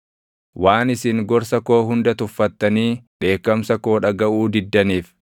waan isin gorsa koo hunda tuffattanii dheekkamsa koo dhagaʼuu diddaniif,